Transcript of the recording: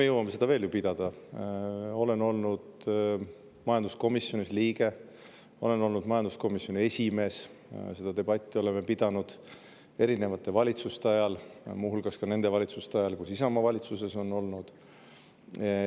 olin majanduskomisjoni liige, kui olin majanduskomisjoni esimees, seda debatti oleme pidanud erinevate valitsuste ajal, muu hulgas ka nendes valitsustes, kus Isamaa on olnud.